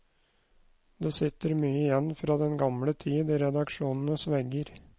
Det sitter mye igjen fra den gamle tid i redaksjonenes vegger.